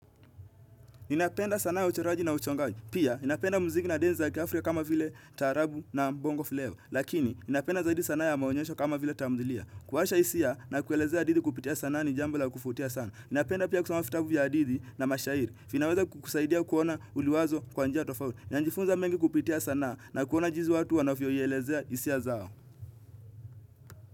Ninapenda sana ya uchoraji na uchongaji. Pia, ninapenda muziki na densi za kiafrika kama vile taarabu na mbongo flava. Lakini, ninapenda zaidi sanaa ya maonyesho kama vile tamthilia. Kuwasha hisia na kuelezea hisia kupitia sanaa ni jambo la kuvutia sana. Napenda pia kusoma vitabu vya hadithi na mashairi. Vinaweza kukusaidia kuona uliwazo kwa njia tofauti. Ninanjifunza mengi kupitia sanaa na kuona jinsi watu wanavyoielezea hisia zao.